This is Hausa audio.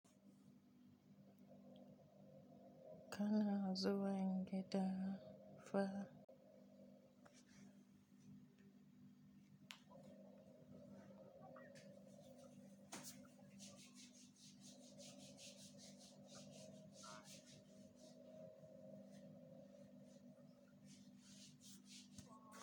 Kana zuwan gida fa.